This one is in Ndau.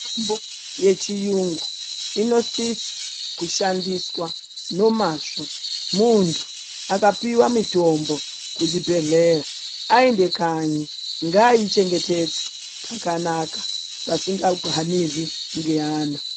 Mitombo dzechirungu inosisa kushandiswa nomazvo muntu akapihwa mitombo kuzvibhedhlera aenda kanyi ngaichengetedze pakanaka pasingahanurwi ngeana.